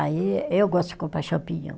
Aí, eu gosto de comprar champignon.